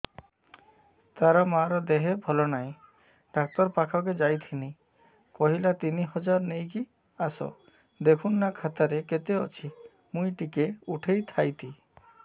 ତାର ମାର ଦେହେ ଭଲ ନାଇଁ ଡାକ୍ତର ପଖକେ ଯାଈଥିନି କହିଲା ତିନ ହଜାର ନେଇକି ଆସ ଦେଖୁନ ନା ଖାତାରେ କେତେ ଅଛି ମୁଇଁ ଟିକେ ଉଠେଇ ଥାଇତି